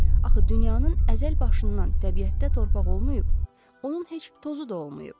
Axı dünyanın əzəl başından təbiətdə torpaq olmayıb, onun heç tozu da olmayıb.